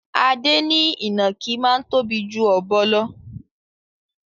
Adé ní ìnàkí máa ń tóbi ju ọ̀bọ lò.